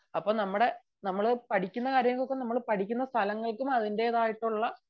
അപ്പം നമ്മുടെ നമ്മൾ പഠിക്കുന്ന കാര്യങ്ങൾക്കും പഠിക്കുന്ന സ്ഥലങ്ങൾക്കും അതിന്റെതായിട്ടുള്ള